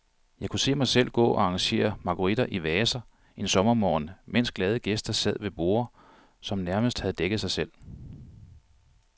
Jeg kunne se mig selv gå og arrangere marguritter i vaser en sommermorgen, mens glade gæster sad ved borde, som nærmest havde dækket sig selv.